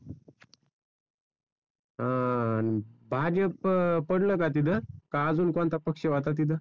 अं भाजप पडलं का तिथं, का अजून कोणता पक्ष होता तिथं?